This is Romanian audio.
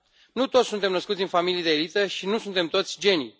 Nu toți suntem născuți în familii de elită și nu suntem toți genii.